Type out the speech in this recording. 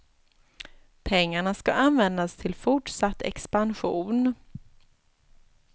Pengarna ska användas till fortsatt expansion.